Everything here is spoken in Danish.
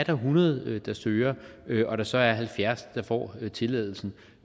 hundrede der søger og der så er halvfjerds der får tilladelsen